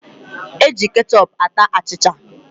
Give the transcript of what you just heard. E ji kechọp ata achịcha